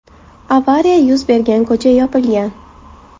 Avariya yuz bergan ko‘cha yopilgan.